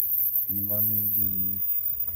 иван евгеньевич